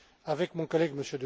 externe. Avec mon collègue,